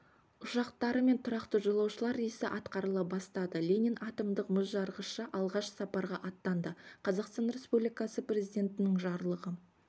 ұшақтарымен тұрақты жолаушылар рейсі атқарыла бастады ленин атомдық мұзжарғышы алғаш сапарға аттанды қазақстан республикасы президентінің жарлығы